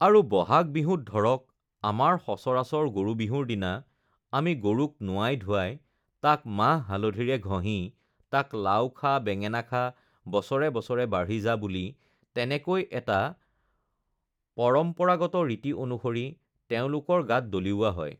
আৰু বহাগ বিহুত ধৰক আমাৰ সচৰাচৰ গৰু বিহুৰ দিনা আমি গৰুক নোৱাই-ধোৱাই তাক মাহ-হালধিৰে ঘঁহি তাক লাউ খা বেঙেনা খা বছৰে বছৰে বাঢ়ি যা বুলি তেনেকৈ এটা পৰম্পৰাগত ৰীতি অনুসৰি তেওঁলোকৰ গাত দলিওৱা হয়